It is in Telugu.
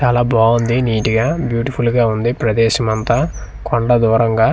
చాలా బాగుంది నిట్ గా బ్యూటిఫుల్ ఉంది ప్రదేశం అంతా కొండ దూరంగా.